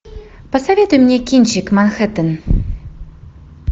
посоветуй мне кинчик манхеттен